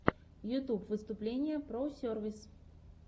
ютьюб выступление про сервис